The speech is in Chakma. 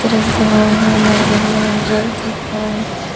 rej degongor almari degongor reg degong.